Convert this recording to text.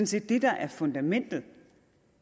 set det der er fundamentet